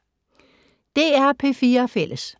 DR P4 Fælles